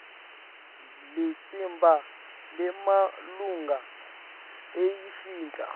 litsimba lemalunga layimfica